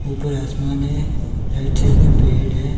ऊपर आसमान है राइट साइड में बेड है।